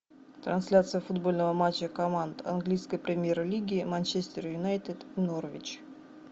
трансляция футбольного матча команд английской премьер лиги манчестер юнайтед норвич